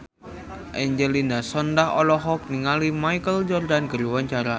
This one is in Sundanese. Angelina Sondakh olohok ningali Michael Jordan keur diwawancara